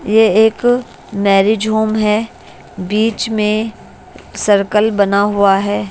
ये एक marriage home है बीच में सर्कल बना हुआ है।